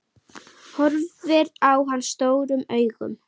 Horfir á hann stórum augum.